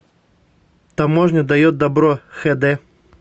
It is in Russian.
таможня дает добро хэ дэ